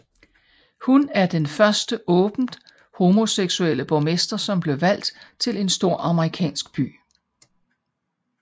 Hun er den første åbent homoseksuelle borgmester som blev valgt til en stor amerikansk by